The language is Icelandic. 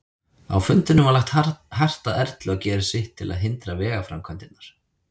Á fundinum var lagt hart að Erlu að gera sitt til að hindra vegaframkvæmdirnar.